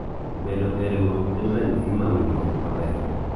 bedo e riwruok en ranyisi mar winjruok maber